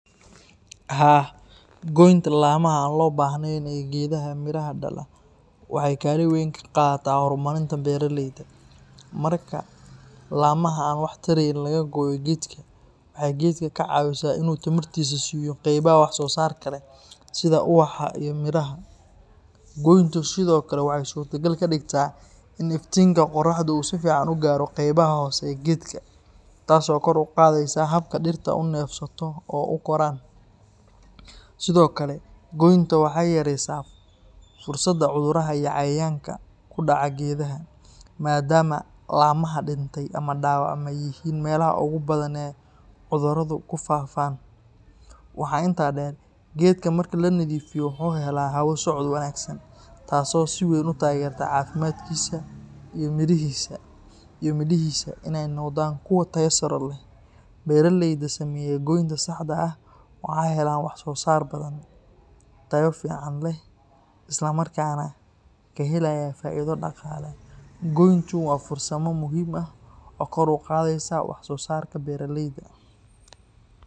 Haa, goynta laamaha aan loo baahnayn ee geedaha midhaha dhala waxay kaalin weyn ka qaadataa horumarinta beeralayda. Marka laamaha aan wax tarayn laga gooyo geedka, waxay geedka ka caawisaa in uu tamartiisa siiyo qaybaha wax soo saar leh sida ubaxa iyo midhaha. Goyntu sidoo kale waxay suurtagal ka dhigtaa in iftiinka qorraxda uu si fiican u gaaro qaybaha hoose ee geedka, taas oo kor u qaadaysa habka dhirta u neefsato oo u koraan. Sidoo kale, goynta waxay yareysaa fursadda cudurrada iyo cayayaanka ku dhaca geedaha, maadaama laamaha dhintay ama dhaawacmay yihiin meelaha ugu badan ee cudurradu ku faafaan. Waxaa intaa dheer, geedka marka la nadiifiyo wuxuu helaa hawo socod wanaagsan, taasoo si weyn u taageerta caafimaadkiisa iyo midhihiisa in ay noqdaan kuwo tayo sare leh. Beeraleyda sameeya goynta saxda ah waxay helaan wax soo saar badan, tayo fiican leh, islamarkaana ka helaya faa’iido dhaqaale. Goyntu waa farsamo muhiim ah oo kor u qaadaysa wax soo saarka beeralayda.